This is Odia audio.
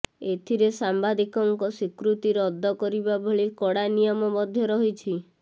ଏଥିରେ ସାମ୍ୱାଦିକଙ୍କ ସ୍ୱୀକୃତି ରଦ୍ଦ କରିବା ଭଳି କଡ଼ା ନିୟମ ମଧ୍ୟ ରହିଛି